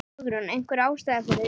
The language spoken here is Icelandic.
Hugrún: Einhver ástæða fyrir því?